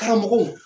Karamɔgɔw